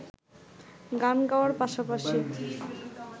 গান গাওয়ার পাশা পাশি